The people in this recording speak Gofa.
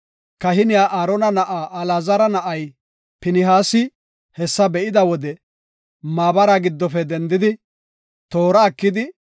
Kahiniya Aarona na7aa Alaazara na7ay Pinihaasi hessa be7ida wode maabara giddofe dendidi, toora ekidi,